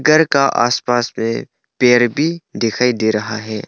घर का आसपास में पेड़ भी दिखाई दे रहा है।